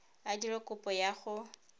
a dire kopo ya go